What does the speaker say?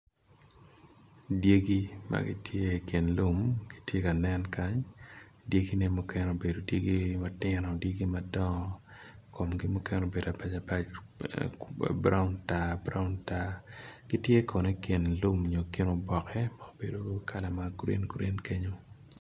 Dyegi magitye i kin lum gitye kanen kany dyegi ne mukene obedo dyegi matino dyegi madongo komgi mukene obedo abac abac brown tar brown tar gitye kono ikin lum nyo ikin oboke ma obedo kala magreen green kenyo.